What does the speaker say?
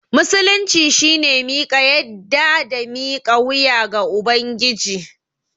Musulunci shine miƙa yadda da mika wuya ga Ubangiji.